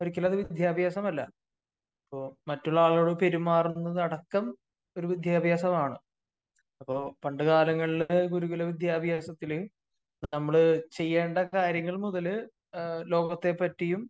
ഒരിക്കലും അത് വിദ്യാഭ്യാസമല്ല. അപ്പോ മറ്റുള്ള ആളുകളോട് പെരുമാറുന്നത് അടക്കം ഒരു വിദ്യാഭ്യാസമാണ്. അപ്പോ പണ്ടുകാലങ്ങളില് ഗുരുകുലവിദ്യാഭ്യാസത്തില് നമ്മള് ചെയ്യേണ്ട കാര്യങ്ങൾ മുതല് ലോകത്തെ പ്പറ്റിയും